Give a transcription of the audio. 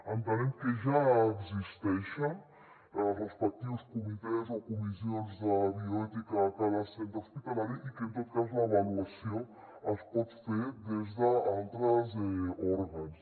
entenem que ja existeixen els respectius comitès o comissions de bioètica a cada centre hospitalari i que en tot cas l’avaluació es pot fer des d’altres òrgans